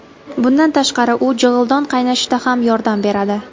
Bundan tashqari, u jig‘ildon qaynashida ham yordam beradi.